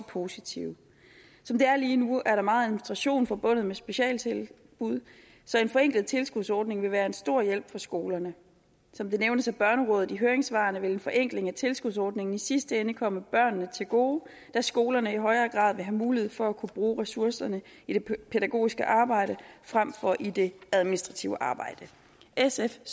positive som det er lige nu er der meget administration forbundet med specialtilbud så en forenklet tilskudsordning vil være en stor hjælp for skolerne som det nævnes af børnerådet i høringssvarene vil en forenkling af tilskudsordningen i sidste ende komme børnene til gode da skolerne i højere grad vil have mulighed for at kunne bruge ressourcerne i det pædagogiske arbejde frem for i det administrative arbejde sf